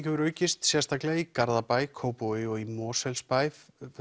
hefur aukist sérstaklega í Garðabæ Kópavogi og í Mosfellsbæ